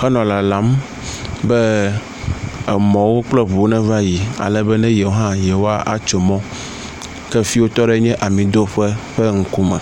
henɔ lalam be emɔwo kple ŋuwo neva yi alebe ne yewo hã yewoatso mɔ. Ke fi yi wotɔ ɖo nye amidoƒe ƒe ŋkume.